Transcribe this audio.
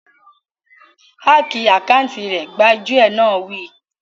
Háki àkáùntì rẹ̀! Gbájúẹ̀ náà wí